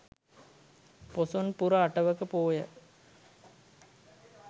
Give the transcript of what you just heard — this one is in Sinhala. පොසොන් පුර අටවක පෝය